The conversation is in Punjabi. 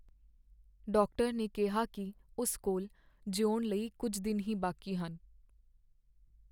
ਡਾਕਟਰ ਨੇ ਕਿਹਾ ਕੀ ਉਸ ਕੋਲ ਜਿਉਣ ਲਈ ਕੁੱਝ ਦਿਨ ਹੀ ਬਾਕੀ ਹਨ।